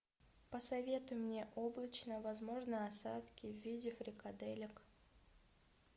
посоветуй мне облачно возможны осадки в виде фрикаделек